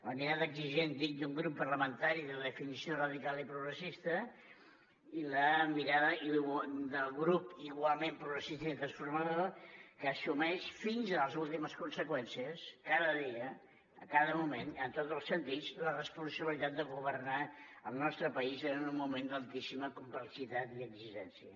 la mirada exigent dic d’un grup parlamentari de definició radical i progressista i la mirada del grup igualment progressista i transformador que assumeix fins a les últimes conseqüències cada dia a cada moment en tots els sentits la responsabilitat de governar el nostre país en un moment d’altíssima complexitat i exigència